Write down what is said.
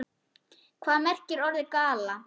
Hvað merkir orðið gala?